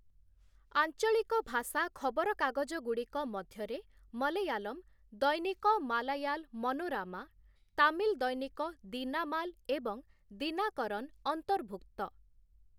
ଆଞ୍ଚଳିକ ଭାଷା ଖବରକାଗଜଗୁଡ଼ିକ ମଧ୍ୟରେ ମଲୟାଲମ, ଦୈନିକ ମାଲାୟାଲ ମନୋରାମା, ତାମିଲ ଦୈନିକ ଦିନାମାଲ ଏବଂ ଦିନାକରନ ଅନ୍ତର୍ଭୁକ୍ତ ।